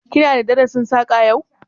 Ki na da darasin Saƙa yau?